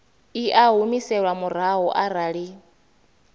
i a humiselwa murahu arali